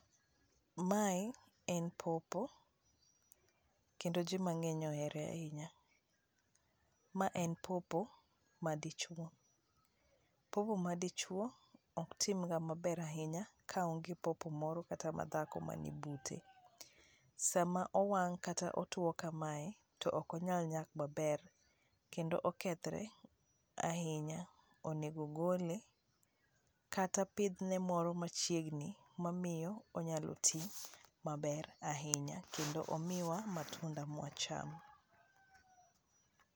Mae en pawpaw kendo ji mang'eny ohere ahinya, ma en pawpaw madichuo, pawpaw madichuo ok timga maber ahinya kaonge pawpaw moro kata madhako man bute ,sama owang' kata otuo kamae to ok onyal nyak maber kendo okethre ahinya, onego gole kata pithne moro machiegni mamiyo onyalo ti maber ahinya kendo kendo omiwa matunda mwachamo